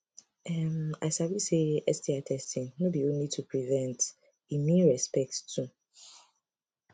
um i sabi say sti testing no be only to prevent e mean respect too